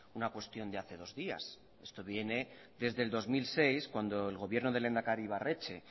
una cuestión de hace dos días esto viene desde el dos mil seis cuando el gobierno del lehendakari ibarretxe